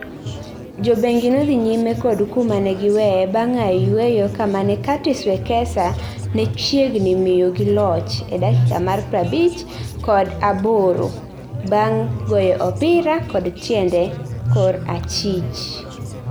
Jobengi nodhi nyime kod kuma negi weye bang aye yweyo kamane Curtis Wekesa ne chiegnimiyogiloch e dakika mar pra abich kod aborobang goyoopira kod tiende kor achich